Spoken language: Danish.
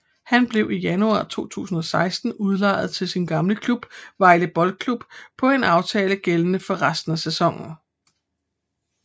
Han blev i januar 2016 udlejet til sin gamle klub Vejle Boldklub på en aftale gældende for resten af sæsonen